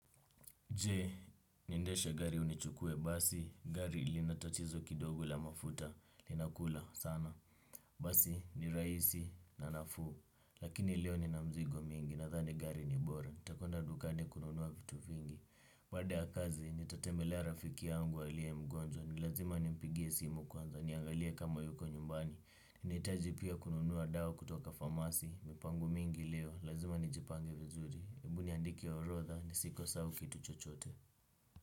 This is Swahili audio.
Je, niendesha gari au nichukue basi, gari linatatizo kidogo la mafuta, linakula sana. Basi, ni rahisi na nafuu, lakini leo nina mzigo mingi, nadhani gari ni bora, nitakwenda dukani kununua vitu vingi. Baada ya kazi, nitatembelea rafiki yangu aliye mgonjwa, nilazima nimpigie simu kwanza, niangalie kama yuko nyumbani. Ninahitaji pia kununua dawa kutoka famasi. Mipango mingi leo, lazima nijipange vizuri hebu niandike orodha, ni sikose kitu chochote.